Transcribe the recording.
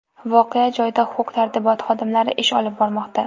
Voqea joyida huquq-tartibot xodimlari ish olib bormoqda.